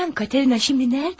Xanım Katerina indi haradadır?